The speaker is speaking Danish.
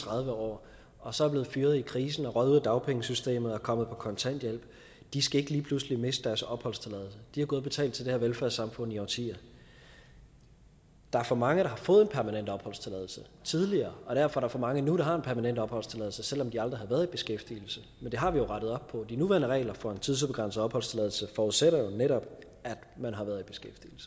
tredive år og så er blevet fyret i krisen og røget ud af dagpengesystemet og kommet på kontanthjælp ikke lige pludselig skal miste deres opholdstilladelse de har gået og betalt til det her velfærdssamfund i årtier der er for mange der har fået en permanent opholdstilladelse tidligere og derfor er der for mange nu der har en permanent opholdstilladelse selv om de aldrig har været i beskæftigelse men det har vi jo rettet op på de nuværende regler for en tidsubegrænset opholdstilladelse forudsætter jo netop at man har været